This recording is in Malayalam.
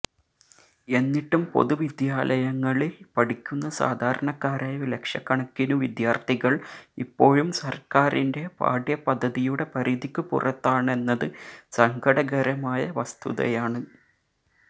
എന്നിട്ടും പൊതു വിദ്യാലയങ്ങളില് പഠിക്കുന്ന സാധാരണക്കാരായ ലക്ഷക്കണക്കിനു വിദ്യാര്ത്ഥികള് ഇപ്പോഴും സര്ക്കാരിന്റെ പാഠ്യപദ്ധതിയുടെ പരിധിക്കു പുറത്താണെന്നത് സങ്കടകരമായ വസ്തുതയാണ്